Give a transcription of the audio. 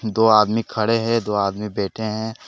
दो आदमी खड़े हैं दो आदमी बैठे हैं।